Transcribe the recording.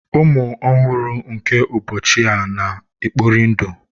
Ụmụ ọhụrụ nke ụbọchị a na-ekpori ndụ.